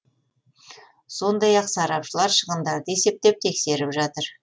сондай ақ сарапшылар шығындарды есептеп тексеріп жатыр